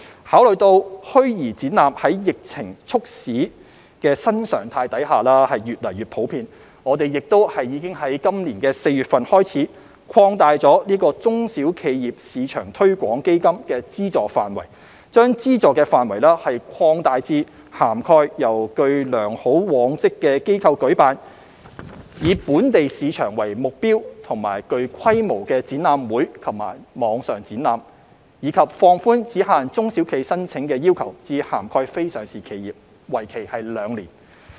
考慮到虛擬展覽在疫情促使的新常態下越趨普遍，我們已由今年4月開始，擴大中小企業市場推廣基金的資助範圍，將資助範圍擴大至涵蓋由具良好往績的機構舉辦，以"本地市場"為目標及具規模的展覽會及網上展覽；以及放寬只限中小企申請的要求至涵蓋非上市企業，為期兩年。